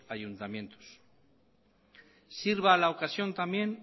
ayuntamientos sirva la ocasión también